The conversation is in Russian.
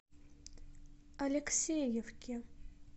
алексеевке